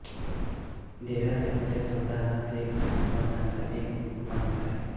डेरा सच्चा सौदा हा शीख पंथाचा एक उपपंथ आहे